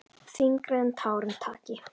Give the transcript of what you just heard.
Þyngra en tárum taki!